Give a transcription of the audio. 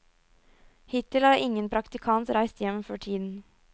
Hittil har ingen praktikant reist hjem før tiden.